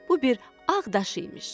Bu bir ağ daş imiş.